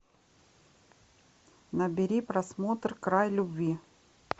набери просмотр край любви